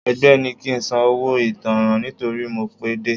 Ẹgbẹ́ ní kí ń san owó ìtanràn nítorí mo pé dé.